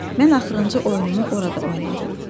Bəli, mən axırıncı oyunumu orada oynadım.